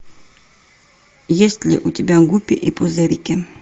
есть ли у тебя гуппи и пузырьки